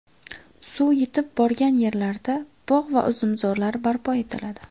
Suv yetib borgan yerlarda bog‘ va uzumzorlar barpo etiladi.